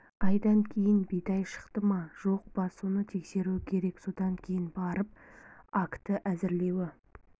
айдан кейін бидай шықты ма жоқ па соны терскеруі керек содан кейін барып акті әзірлеуі